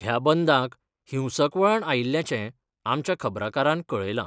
ह्या बंदाक हिंसक वळण आयिल्ल्याचें आमच्या खबराकारांन कळयलां.